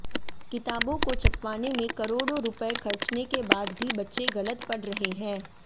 किताबों को छपवाने में करोड़ों रुपए खर्चने के बाद भी बच्चे गलत पढ़ रहे हैं